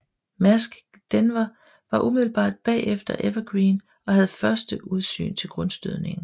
Maersk Denver var umiddelbart bagefter Ever Given og havde første udsyn til grundstødningen